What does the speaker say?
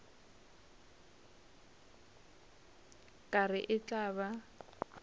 ka re e tla ba